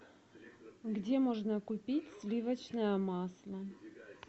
где можно купить сливочное масло